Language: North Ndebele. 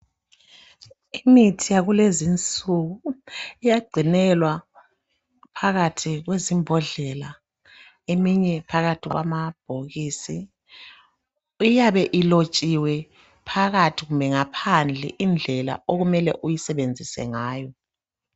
Imithi yakulezinsuku iyagcinelwa phakathi kwezimbodlela eminye phakathi kwamabhokisi. Iyabe ilotshiwe phakathi kumbe ngaphandle indlela okumele uyisebenzise ngayo.